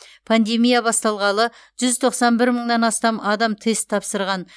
пандемия басталғалы жүз тоқсан бір мыңнан астам адам тест тапсырған